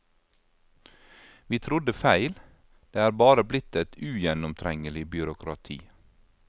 Vi trodde feil, det er bare blitt et ugjennomtrengelig byråkrati.